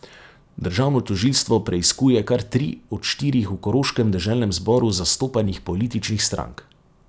Državno tožilstvo preiskuje kar tri od štirih v koroškem deželnem zboru zastopanih političnih strank.